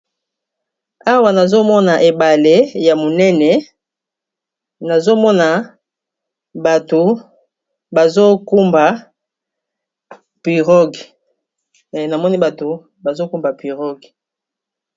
awa nazomona ebale ya monene nazomona namoni bato bazokumba pirogue